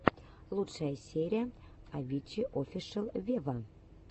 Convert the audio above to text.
лучшая серия авичи офишел вево